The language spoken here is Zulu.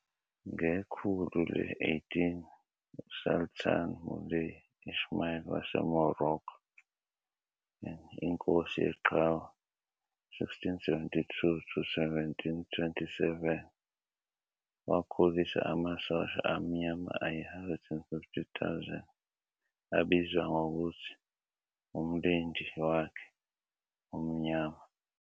Ngekhulu le-18, uSultan Moulay Ismail waseMoroccan "Inkosi Yeqhawe", 1672 to 1727, wakhulisa amasosha amnyama ayi-150,000, abizwa ngokuthi uMlindi wakhe Omnyama.